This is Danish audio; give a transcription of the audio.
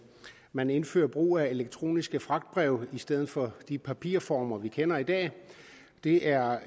man indfører brug af elektroniske fragtbreve i stedet for de papirformer vi kender i dag det er